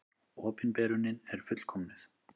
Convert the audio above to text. Opinberunin er fullkomnuð.